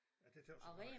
Ja det tøs jeg godt nok